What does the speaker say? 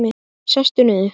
Sestu niður.